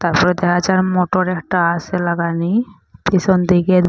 তারপর দেখা যার মোটর একটা আসে লাগানি। ফিচন দিকে--